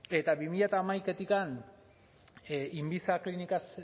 eta bi mila hamaikatik inviza klinikaz